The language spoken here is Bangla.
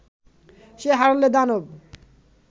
সে হারলে দানব